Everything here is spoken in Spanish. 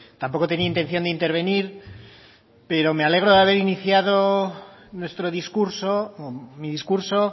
tampoco tenía intención de intervenir pero me alegro de haber iniciado nuestro discurso mi discurso